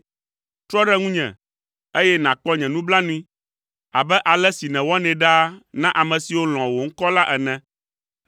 Trɔ ɖe ŋunye, eye nàkpɔ nye nublanui abe ale si nèwɔnɛ ɖaa na ame siwo lɔ̃a wò ŋkɔ la ene.